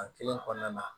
A kelen kɔnɔna na